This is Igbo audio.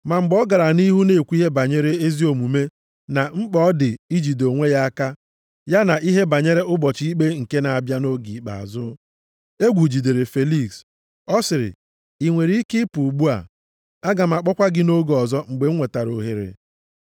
Ma mgbe ọ gara nʼihu na-ekwu ihe banyere ezi omume na mkpa ọ dị mmadụ ijide onwe ya aka, ya na ihe banyere ụbọchị ikpe nke na-abịa nʼoge ikpeazụ, egwu jidere Feliks. Ọ sịrị, “I nwere ike ịpụ ugbu a. Aga m akpọkwa gị nʼoge ọzọ mgbe m nwetara ohere.”